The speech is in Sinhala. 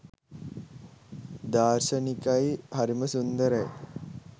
දාර්ශනිකයි හරිම සුන්දරයි